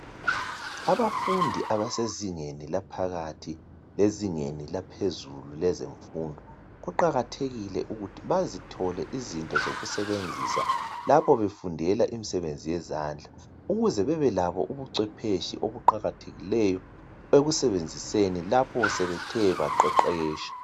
Abafundi abasezingeni laphakathi lezingeni laphezulu lezemfundo kuqakathekile ukuthi bazithole izinto zokusebenzisa lapho befundela imisebenzi yezandla ukuze bebe labo ubuncwephetshe obuqakathekileyo ekusebenziseni lapho sebethe baqeqetsha